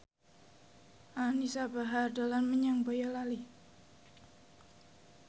Anisa Bahar dolan menyang Boyolali